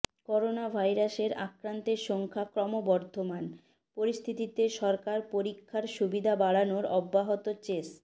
করোনাভাইরাসের আক্রান্তের সংখ্যা ক্রমবর্ধমান পরিস্থিতিতে সরকার পরীক্ষার সুবিধা বাড়ানোর অব্যাহত চেষ